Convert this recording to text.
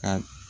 Ka